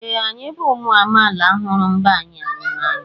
Ee! Anyị bụ ụmụ amaala hụrụ mba anyị n'anya.